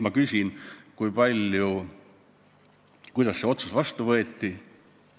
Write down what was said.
Ma küsin nüüd, et kuidas see otsus vastu võeti.